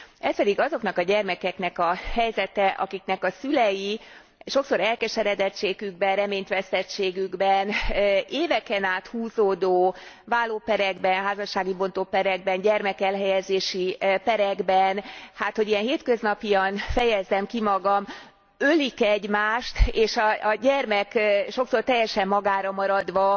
Ez pedig azoknak a gyermekeknek a helyzete, akiknek a szülei sokszor elkeseredettségükben, reményt vesztettségükben éveken át húzódó válóperekben, házassági bontóperekben, gyermekelhelyezési perekben hogy ilyen hétköznapian fejezzem ki magam ölik egymást, és a gyermek sokszor teljesen magára maradva,